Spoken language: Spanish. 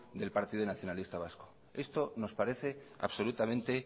del partido nacionalista vasco esto nos parece absolutamente